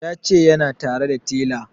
Ya ce yana tare da tela